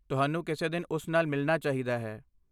ਤੁਹਾਨੂੰ ਕਿਸੇ ਦਿਨ ਉਸ ਨਾਲ ਮਿਲਣਾ ਚਾਹੀਦਾ ਹੈ।